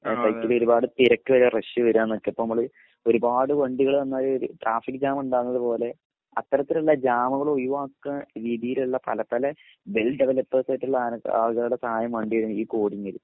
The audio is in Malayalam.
ഒരുപാട് തിരക്ക് വരെ രക്ഷ് വരാനൊക്കെ ഇപ്പൊ നമ്മൾ ഒരുപാട് വണ്ടികൾ വന്നാൽ ട്രാഫിക് ജാം ഉണ്ടാവുന്നത് പോലെ അത്തരത്തിലുള്ള ജാമുകൾ ഒഴിവാക്കാ രീതിയിലുള്ള പല പല വെൽ ഡെവലൊപ്പേഴ്‌സ് ആയിട്ടുള്ള ആളുകളുടെ സഹായം വേണ്ടിവരും ഈ കോഡിങ്ങിൽ